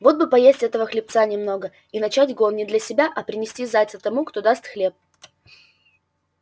вот бы поесть этого хлебца немного и начать гон не для себя и принести зайца тому кто даст хлеб